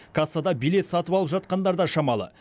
кассада билет сатып алып жатқандар да шамалы